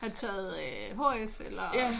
Har du taget øh HF eller?